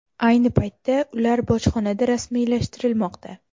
Ayni paytda ular bojxonada rasmiylashtirilmoqda.